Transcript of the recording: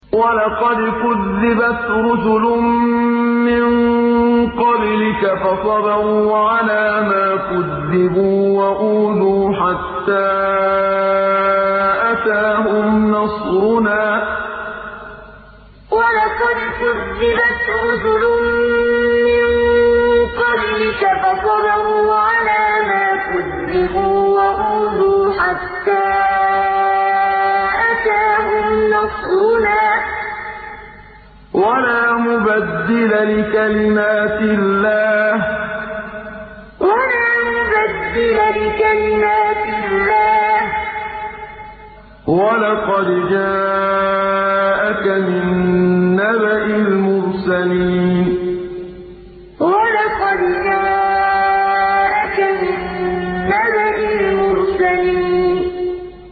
وَلَقَدْ كُذِّبَتْ رُسُلٌ مِّن قَبْلِكَ فَصَبَرُوا عَلَىٰ مَا كُذِّبُوا وَأُوذُوا حَتَّىٰ أَتَاهُمْ نَصْرُنَا ۚ وَلَا مُبَدِّلَ لِكَلِمَاتِ اللَّهِ ۚ وَلَقَدْ جَاءَكَ مِن نَّبَإِ الْمُرْسَلِينَ وَلَقَدْ كُذِّبَتْ رُسُلٌ مِّن قَبْلِكَ فَصَبَرُوا عَلَىٰ مَا كُذِّبُوا وَأُوذُوا حَتَّىٰ أَتَاهُمْ نَصْرُنَا ۚ وَلَا مُبَدِّلَ لِكَلِمَاتِ اللَّهِ ۚ وَلَقَدْ جَاءَكَ مِن نَّبَإِ الْمُرْسَلِينَ